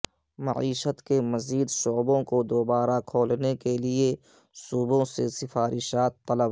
معیشت کے مزید شعبوں کو دوبارہ کھولنے کے لیے صوبوں سے سفارشات طلب